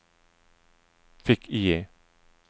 fick-IE